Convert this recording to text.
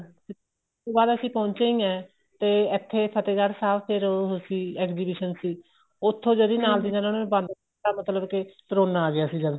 ਉਸ ਤੋ ਬਾਅਦ ਅਸੀਂ ਪਹੁੰਚੇ ਹੀ ਏ ਤੇ ਇੱਥੇ ਫ਼ਤਿਹਗੜ੍ਹ ਸਾਹਿਬ ਫ਼ੇਰ ਉਹ ਅਸੀਂ exhibition ਸੀ ਉੱਥੇ ਜਿਹਦੀ ਨਾਲ ਦੀ ਨਾਲ ਉਹਨਾ ਨੇ ਬੰਦ ਮਤਲਬ ਕੇ ਕਰੋਨਾ ਆ ਗਿਆ ਜਦ